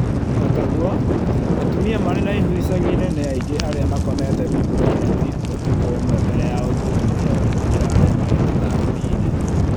Ootaguo, atumia marĩ na ihu icagi inĩ nĩ aingĩ arĩa makomete rungu rwa neti ũtukũ ũmwe mbele ya ũthuthuria ũyũ gũkĩra arĩa marĩ mataũni-inĩ